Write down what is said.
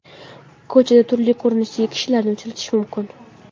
Ko‘chada turli ko‘rinishdagi kishilarni uchratish mumkin.